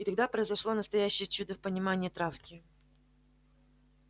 и тогда произошло настоящее чудо в понимании травки